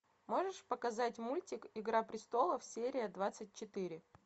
можешь показать мультик игра престолов серия двадцать четыре